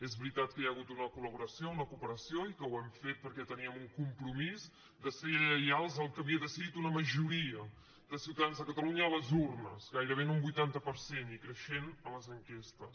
és veritat que hi ha hagut una col·laboració una cooperació i que ho hem fet perquè teníem un compromís de ser lleials al que havia decidit una majoria de ciutadans de catalunya a les urnes gairebé en un vuitanta per cent i creixent a les enquestes